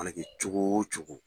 Mana kɛ cogo wo cogo.